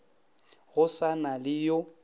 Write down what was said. go sa na le yo